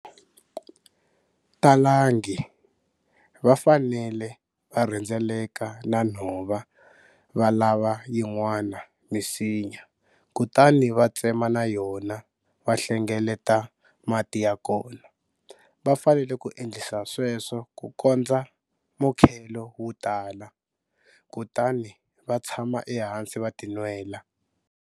Talangi, vafanele varhendzeleka na nhova va lava yin'wana misinya kutani va tsema na yona va hlengeleta mati ya kona. Va fanele ku endlisa sweswo ku kondza mukhelo wu tala, kutani va tshama ehansi va tinwela.